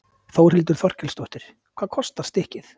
Þórhildur Þorkelsdóttir: Hvað kostar stykkið?